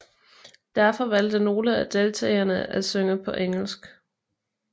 Derfor valgte nogle af deltagerne af synge på engelsk